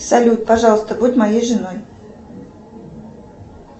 салют пожалуйста будь моей женой